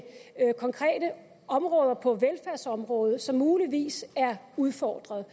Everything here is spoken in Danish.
konkrete områder på velfærdsområdet som muligvis er udfordret